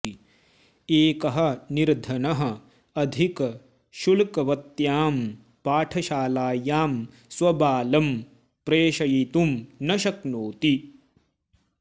एकः निर्धनः अधिकशुल्कवत्यां पाठशालायां स्वबालं प्रेषयितुं न शक्नोति